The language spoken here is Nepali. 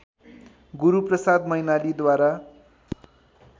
गुरूप्रसाद मैनालीद्वारा